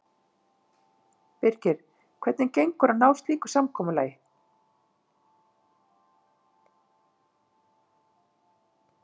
Birgir, hvernig gengur að ná slíku samkomulagi?